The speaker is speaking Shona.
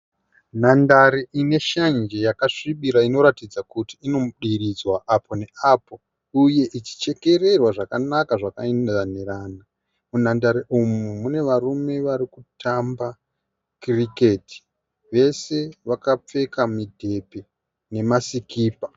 Nhandare ine shanje yakasvibira inoratidza kuti inodiridzwa apo neapo uye ichichekererwa zvakanaka zvakainzirana. Munhandare umu mune varume vari kutamba cricket. Vese vakapfeka midhebhe nemasikipa.